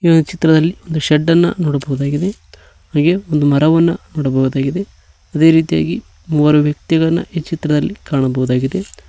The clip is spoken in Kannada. ಈ ಚಿತ್ರದಲ್ಲಿ ಒಂದು ಶೇಡ್ ಅನ್ನ ನೋಡಬಹುದಾಗಿದೆ ಹಾಗೆ ಒಂದು ಮರವನ್ನ ನೋಡಬಹುದಾಗಿದೆ ಅದೆ ರೀತಿಯಾಗಿ ಮೂವರು ವ್ಯಕ್ತಿಗಳನ್ನ ಈ ಚಿತ್ರದಲ್ಲಿ ಕಾಣಬಹುದಾಗಿದೆ.